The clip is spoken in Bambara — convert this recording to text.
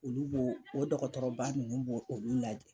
Olu b'o o dɔkɔtɔrɔba nunnu b'olu lajɛ